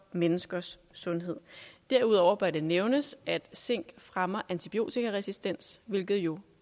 menneskers sundhed derudover bør det nævnes at zink fremmer antibiotikaresistens hvilket jo